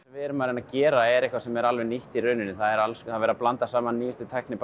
við erum að reyna að gera er eitthvað sem er alveg nýtt í rauninni það er alls konar verið að blanda saman nýjustu tækni